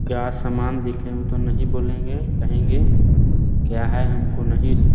क्या सामान देखे हैं वो तो नहीं बोलेगें कहेगें क्या हैं हमको नहीं --